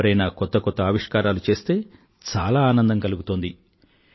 ఎవరైనా కొత్త కొత్త ఆవిష్కారాలు చేస్తే చాలా ఆనందం కలుగుతుంది